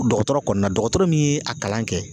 Dɔgɔtɔrɔ kɔni na dɔgɔtɔrɔ min ye a kalan kɛ